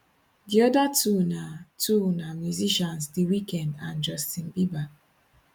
di oda two na two na musicians the weeknd and justin bieber